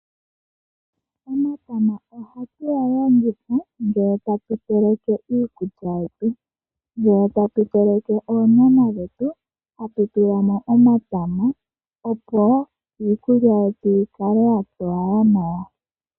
Omatama ohatu ga longitha ngele tatu teleke iikulya yetu. Ngele tatu teleke oonyama dhetu ohatu tula mo omatama opo iikulya yikale ya towala nawa.